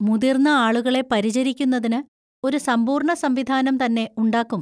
മുതിർന്ന ആളുകളെ പരിചരിക്കുന്നതിന് ഒരു സമ്പൂർണ സംവിധാനം തന്നെ ഉണ്ടാക്കും.